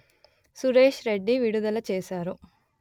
సురేశ్ రెడ్డి విడుదల చేశారు